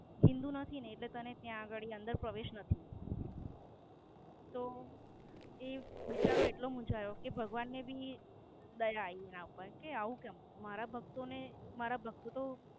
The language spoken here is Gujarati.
હિન્દૂ નથી ને એટલે તને ત્યાં ગાળી અંદર પ્રવેશ નથી. તો, એ બિચારો એટલો મૂંઝાયો કે ભગવાન ને ભી દયા આયી કે આવું કેમ મારા ભક્તો ને મારા ભક્તો